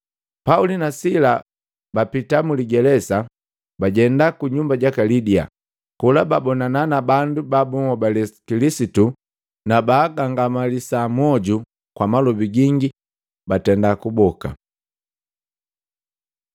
Pauli na Sila bapita muligelesa, bajenda ku nyumba jaka Lidia. Kola babonana na bandu ba babunhobali Kilisitu na baagangamalisa mwoju kwa malobi gingi batenda kuboka.